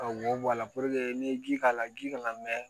Ka wo bɔ a la n'i ye ji k'a la ji kana mɛn